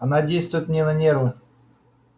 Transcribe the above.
она действует мне на нервы